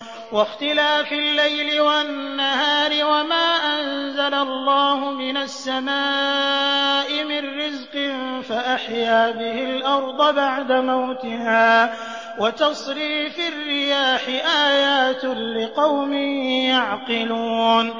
وَاخْتِلَافِ اللَّيْلِ وَالنَّهَارِ وَمَا أَنزَلَ اللَّهُ مِنَ السَّمَاءِ مِن رِّزْقٍ فَأَحْيَا بِهِ الْأَرْضَ بَعْدَ مَوْتِهَا وَتَصْرِيفِ الرِّيَاحِ آيَاتٌ لِّقَوْمٍ يَعْقِلُونَ